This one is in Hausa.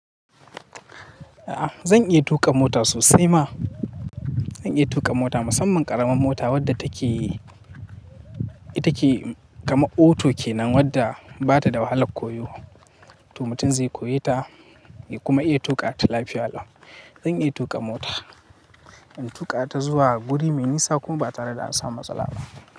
A'a zan iya tuƙa mota sosai ma. Zan iya tuƙa mota, musamman ƙaramin mota wadda take take kama auto kenan wadda bata da wahalar koyo. To mutum zai koyi ta ya kuma iya tuƙa ta lafiya Allah. Zan iya tuƙa mota, in tuƙa ta zuwa guri mai nisa kuma ba tare ɗa an samu matsala ba.